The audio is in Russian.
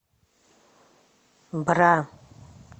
бра